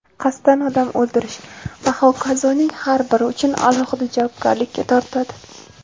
qasddan odam o‘ldirish va h.k.)ning har biri uchun alohida javobgarlikka tortiladi.